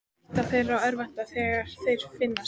Hætta þeir að örvænta þegar þeir finnast?